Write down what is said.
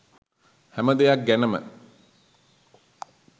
හැම දෙයක් ගැනම.